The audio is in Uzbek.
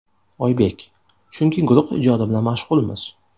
Oybek: Chunki guruh ijodi bilan mashg‘ulmiz.